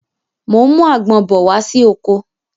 Mo ń mú àgbon bọ̀ wá sí oko